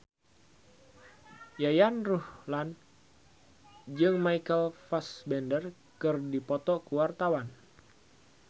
Yayan Ruhlan jeung Michael Fassbender keur dipoto ku wartawan